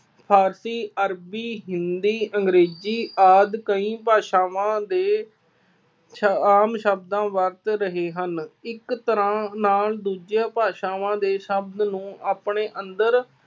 ਫਾਰਸੀ, ਅਰਬੀ, ਹਿੰਦੀ, ਅੰਗਰੇਜ਼ੀ ਆਦਿ ਕਈ ਭਾਸ਼ਾਵਾਂ ਦੇ ਸ ਆਮ ਸ਼ਬਦਾਂ ਵਰਤ ਰਹੇ ਹਨ। ਇੱਕ ਤਰ੍ਹਾ ਨਾਲ ਦੂਜੀਆਂ ਭਾਸ਼ਾਵਾਂ ਦੇ ਸ਼ਬਦ ਨੂੰ ਆਪਣੇ ਅੰਦਰ